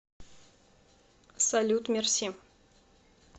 салют мерси